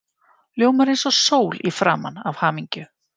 Ljómar eins og sól í framan af hamingju.